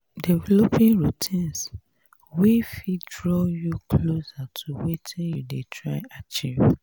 developing routines wey fit draw you closer to wetin you dey try achieve